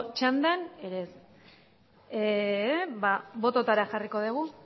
txandan ere ez ba bototara jarriko dugu